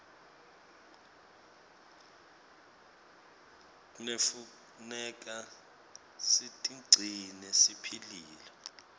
knefuneka sitigcine siphilile